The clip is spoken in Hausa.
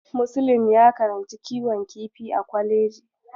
Muslim ya karanci kiwon kifi a kwaleji.